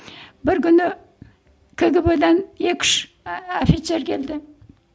бір күні кгб дан екі үш офицер келді